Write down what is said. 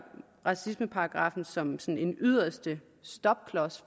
racismeparagraffen som som en yderste stopklods